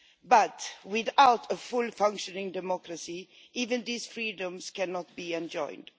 But, without a fully functioning democracy, even these freedoms cannot be enjoyed.